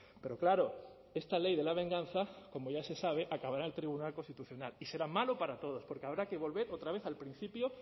pero claro esta ley de la venganza como ya se sabe acabará en el tribunal constitucional y será malo para todos porque habrá que volver otra vez al principio